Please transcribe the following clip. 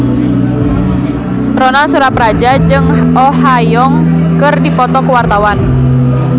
Ronal Surapradja jeung Oh Ha Young keur dipoto ku wartawan